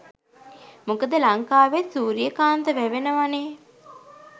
මොකද ලංකාවෙත් සුරියකාන්ත වැවෙනවනේ?